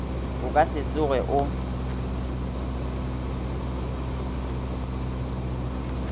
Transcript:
o ka se tsoge o